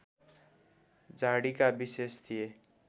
झाडीका विशेष थिए